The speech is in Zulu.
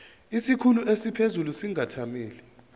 isikhulu esiphezulu singathamela